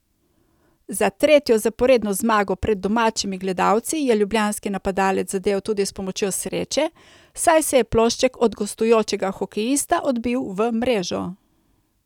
Za tretjo zaporedno zmago pred domačimi gledalci je ljubljanski napadalec zadel tudi s pomočjo sreče, saj se je plošček od gostujočega hokejista odbil v mrežo.